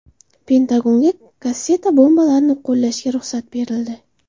Pentagonga kasseta bombalarini qo‘llashga ruxsat berildi.